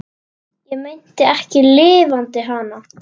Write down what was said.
Ég meinti ekki LIFANDI HANA.